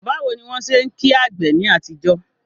Báwo ni wọ́n ṣe ń kí àgbè ní àtijọ́?